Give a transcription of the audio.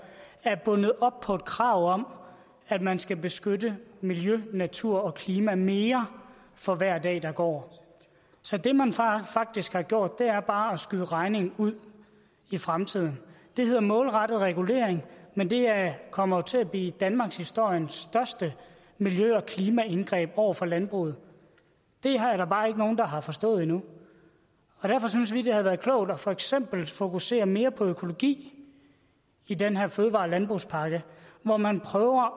er bundet op på et krav om at man skal beskytte miljø natur og klima mere for hver dag der går så det man faktisk har gjort er bare at skyde regningen ud i fremtiden det hedder målrettet regulering men det kommer til at blive danmarkshistoriens største miljø og klimaindgreb over for landbruget det er der bare ikke nogen der har forstået endnu derfor synes vi det havde været klogt for eksempel at fokusere mere på økologi i den her fødevare og landbrugspakke hvor man prøver